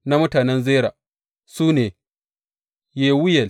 Na mutanen Zera su ne, Yewuyel.